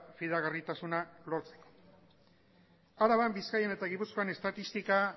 fidagarritasuna lortzeko araban bizkaian eta gipuzkoan estatistika